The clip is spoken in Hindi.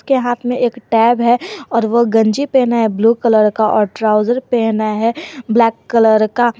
के हाथ में एक टैब है और ओ गंजी पेहना है ब्लू कलर का और ट्राउजर पेहना है ब्लैक कलर का--